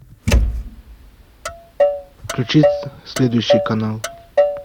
включи следующий канал